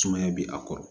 Sumaya bɛ a kɔrɔ